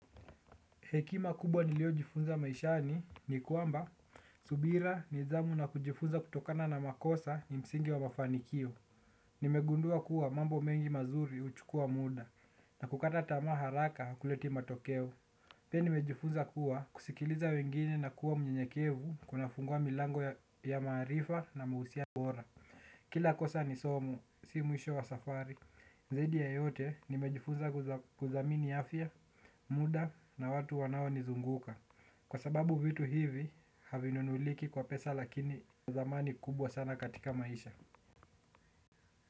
Hekima kubwa niliojifunza maishani ni kwamba subira nidhamu na kujifunza kutokana na makosa ni msingi wa mafanikio. Nimegundua kuwa mambo mengi mazuri huchukua muda. Na kukata tamaa haraka hakuleti matokeo pia nimejifunza kuwa kusikiliza wengine nakuwa mnyenyekevu. Kuna fungua milango ya maarifa na mahusiano bora. Kila kosa ni somo, si mwisho wa safari. Zaidi ya yote nimejifuza kuthamini afya, muda na watu wanawanizunguka. Kwa sababu vitu hivi havinunuliki kwa pesa lakini thamani kubwa sana katika maisha.